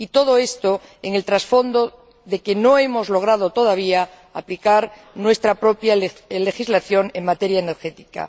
Y todo esto en el trasfondo de que no hemos logrado todavía aplicar nuestra propia legislación en materia energética.